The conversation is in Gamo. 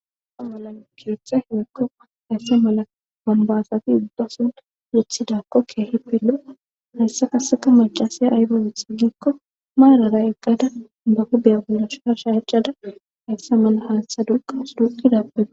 a malamkiyotha hewekko hayssa mala wanbaasati uddasun yethidakko keehi pelo7a hayssa kaseka macasaya aygowethigikko maarara eqqada ba hubiya bollash har shaacada hayssa mala haastha duqas duqidappege